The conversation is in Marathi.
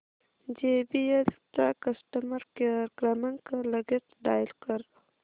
जेबीएल चा कस्टमर केअर क्रमांक लगेच डायल कर